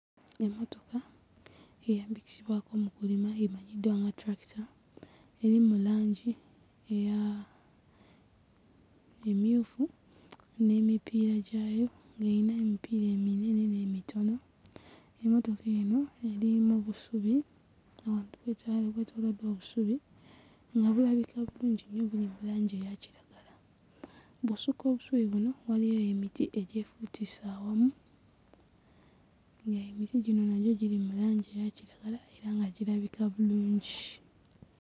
Emmotoka eyambisibwako mu kulima emanyiddwa nga tulakita eri mu langi eya mmyufu n'emipiira gyayo, ng'eyina emipiira eminene n'emitono, emmotoka eno eri mu busubi ng'abantu beekyaye beetooloddwa obusubi nga bulabika bulungi nnyo buli mu langi eya kiragala, bw'osukka obusubi buno waliyo eyo emiti egyefubituse awamu ng'emiti gino nagyo giri mu langi eya kiragala era nga girabika bulungi.